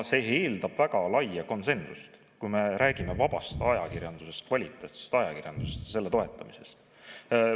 See eeldab väga laia konsensust, kui me räägime vabast ajakirjandusest, kvaliteetajakirjandusest, ja selle toetamisest.